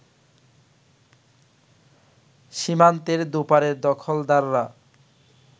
সীমান্তের দুপারের দখলদাররা